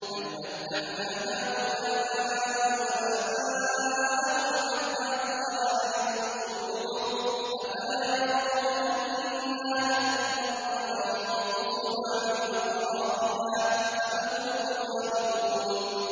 بَلْ مَتَّعْنَا هَٰؤُلَاءِ وَآبَاءَهُمْ حَتَّىٰ طَالَ عَلَيْهِمُ الْعُمُرُ ۗ أَفَلَا يَرَوْنَ أَنَّا نَأْتِي الْأَرْضَ نَنقُصُهَا مِنْ أَطْرَافِهَا ۚ أَفَهُمُ الْغَالِبُونَ